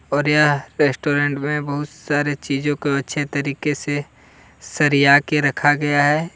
Odia restaurant में बहुत सारी चीजों को अच्छे तरीके से सरिया के रखा गया है।